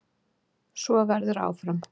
Svo verður áfram.